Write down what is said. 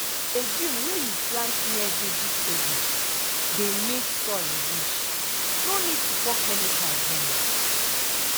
legume wey you plant near vegetable dey make soil rich no need to pour chemical join.